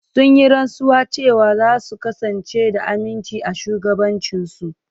Sun yi rantsuwa cewa za su kasance da aminci a shugabancinsu.